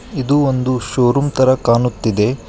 ಇದು ಒಂದು ಶೋರೂಮ್ ತರ ಕಾಣುತ್ತಿದೆ.